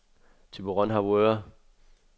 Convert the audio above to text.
Thyborøn-Harboøre